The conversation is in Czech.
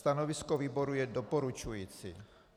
Stanovisko výboru je doporučující.